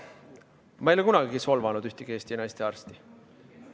Ma ei ole kunagi solvanud ühtegi Eesti naistearsti.